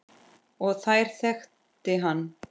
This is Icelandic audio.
Og þær þekki hann.